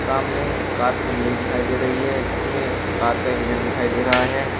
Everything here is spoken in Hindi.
सामने कार खुली हुई दिखाई दे रही है जिसमें स कार का इंजन दिखाई दे रहा है।